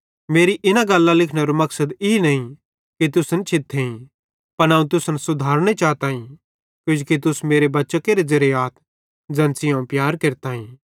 मेमी इना गल्लां लिखनेरो मकसद ई नईं कि तुसन छिथेईं पन अवं तुसन सुधारने चाताईं किजोकि तुस मेरे बच्चां केरे ज़ेरे आथ ज़ैन सेइं अवं प्यार केरताईं